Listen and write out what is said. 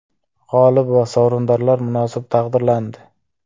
G‘olib va sovrindorlar munosib taqdirlandi.